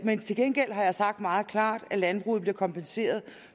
men til gengæld har jeg sagt meget klart at landbruget bliver kompenseret